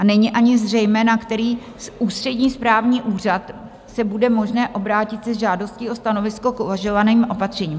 A není ani zřejmé, na který ústřední správní úřad se bude možné obrátit se žádostí o stanovisko k uvažovaným opatřením.